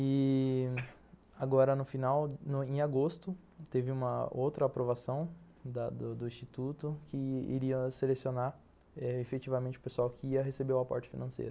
E... agora no final, em agosto, teve uma outra aprovação da do Instituto que iria eh selecionar efetivamente o pessoal que ia receber o aporte financeiro.